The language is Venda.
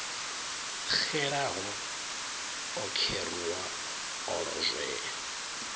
xelaho o kheruwa o lozwea